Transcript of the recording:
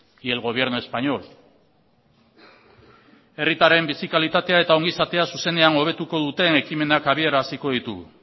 y el gobierno español herritarren bizi kalitatea eta ongizatea zuzenean hobetuko duten ekimenak abiaraziko ditugu